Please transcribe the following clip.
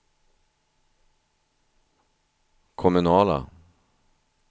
kommunala